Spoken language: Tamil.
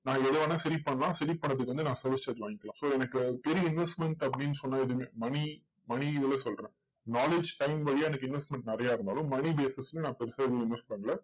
நான் எதை வேணா பண்ணலாம் பண்றதுக்கு வந்து நான் service charge வாங்கிக்கலாம் so எனக்கு பெரிய investment அப்படின்னு சொன்னா எதுவுமே money money இதுல சொல்றேன். knowledge time வழியா எனக்கு investment நிறைய இருந்தாலும், money basis ல நான் பெருசா எதுவும் invest பண்ணல.